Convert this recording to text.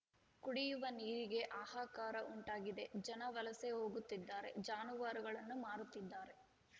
ಕುಡಿಯುವ ನೀರಿಗೆ ಹಾಹಾಕಾರ ಉಂಟಾಗಿದೆ ಜನ ವಲಸೆ ಹೋಗುತ್ತಿದ್ದಾರೆ ಜಾನುವಾರುಗಳನ್ನು ಮಾರುತ್ತಿದ್ದಾರೆ